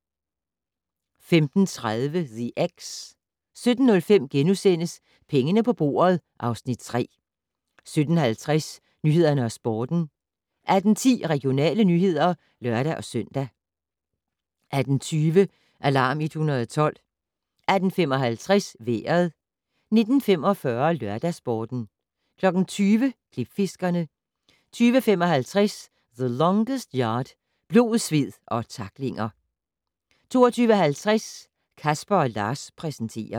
15:30: The Ex 17:05: Pengene på bordet (Afs. 3)* 17:50: Nyhederne og Sporten 18:10: Regionale nyheder (lør-søn) 18:20: Alarm 112 18:55: Vejret 19:45: LørdagsSporten 20:00: Klipfiskerne 20:55: The Longest Yard - blod, sved og tacklinger 22:50: Casper & Lars præsenterer